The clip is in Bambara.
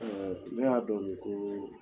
ne y'a dɔn u ye kelen